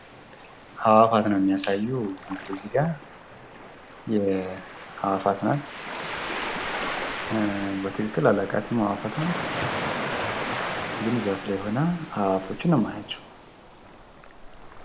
አእዋፍት ነው የሚያሳየው እንግዲህ እዚህጋ አእዋፍት ናት። በትክክል አላቃትም አእዋፍቷን እንግዲህ ዛፍ ላይ ሆና አእዋፍት ነው የማያቸው።